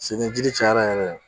Segi ni jiri cayara yɛrɛ